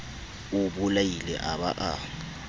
o bolaile a ba a